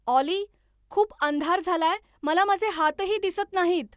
ऑली खूप अंधार झालाय मला माझे हातही दिसत नाहीत